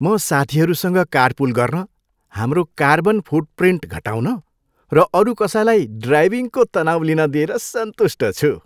म साथीहरूसँग कारपुल गर्न, हाम्रो कार्बन फुटप्रिन्ट घटाउन र अरू कसैलाई ड्राइभिङको तनाउ लिन दिएर सन्तुष्ट छु।